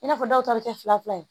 I n'a fɔ dɔw ta bɛ kɛ fila fila ye